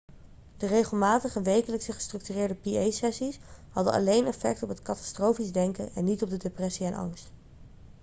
de regelmatige wekelijkse gestructureerde pa-sessies hadden alleen effect op het katastrofisch denken en niet op de depressie en angst